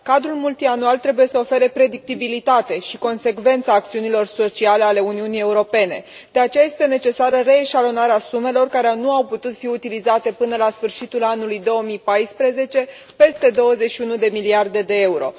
Cadrul multianual trebuie să ofere predictibilitate și consecvență acțiunilor sociale ale Uniunii Europene, de aceea este necesară reeșalonarea sumelor care nu au putut fi utilizate până la sfârșitul anului 2014 peste 21 de miliarde de euro.